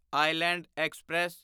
island express